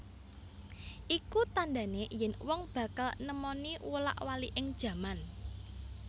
Iku tandhane yen wong bakal nemoni wolak waliking jaman